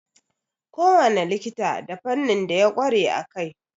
Kowane likita da fannin da ya ƙware a kai.